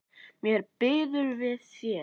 Mér býður við þér.